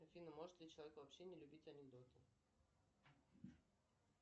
афина может ли человек вообще не любить анекдоты